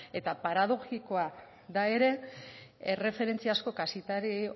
eta paradoxikoa da ere erreferentziazko kazetari